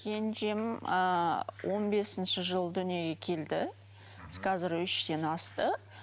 кенжем ыыы он бесінші жылы дүниеге келді қазір үштен асты